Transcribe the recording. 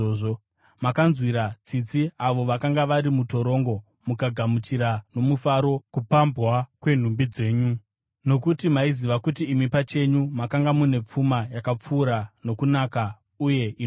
Makanzwira tsitsi avo vakanga vari mutorongo mukagamuchira nomufaro kupambwa kwenhumbi dzenyu, nokuti maiziva kuti imi pachenyu makanga mune pfuma yakapfuura nokunaka uye inogara.